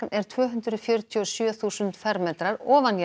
er tvö hundruð fjörutíu og sjö þúsund fermetrar